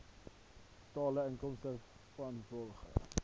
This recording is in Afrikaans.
totale inkomste vanrvolgens